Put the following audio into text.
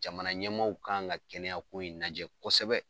Jamana ɲɛmaaw kan ŋa kɛnɛya ko in najɛ kosɛbɛ.